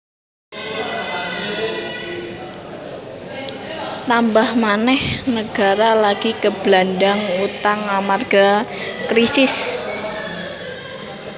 Tambah manèh nagara lagi keblandhang utang amarga krisis